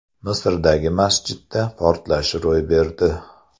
Misrdagi masjidda portlash ro‘y berdi.